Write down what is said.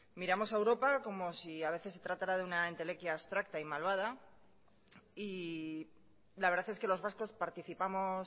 miramos a europa como si a veces se tratara de una entelequia abstracta y malvada y la verdad es que los vascos participamos